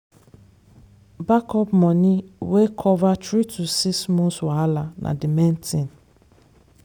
backup money wey cover three to six months wahala na the main thing.